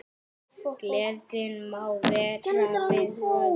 Gleðin má vera við völd.